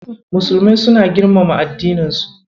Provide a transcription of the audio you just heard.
Musulmai suna girmama addininsu.